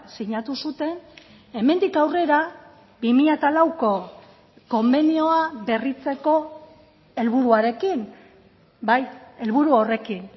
sinatu zuten hemendik aurrera bi mila lauko konbenioa berritzeko helburuarekin bai helburu horrekin